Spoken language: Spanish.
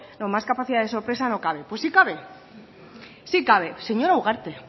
más capacidad de sorpresa no cabe pues sí cabe sí cabe señora ugarte